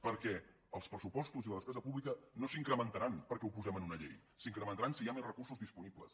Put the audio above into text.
perquè els pressupostos i la despesa pública no s’incrementaran perquè ho posem en una llei s’incrementaran si hi ha més recursos disponibles